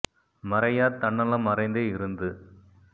மறையாத் தன்னலம் மறைந்தே இருந்து